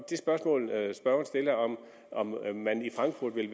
det spørgsmål spørgeren stiller om om hvorvidt man i frankfurt vil